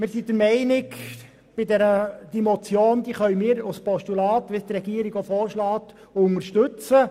Wir können diesen Vorstoss, wie es die Regierung vorschlägt, als Postulat unterstützen.